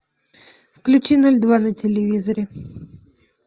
включи ноль два на телевизоре